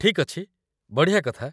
ଠିକ୍ ଅଛି, ବଢ଼ିଆ କଥା ।